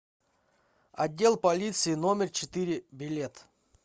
отдел полиции номер четыре билет